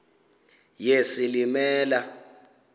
yesilimela